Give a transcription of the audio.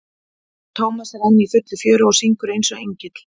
hann Tómas er enn í fullu fjöri og syngur eins og engill.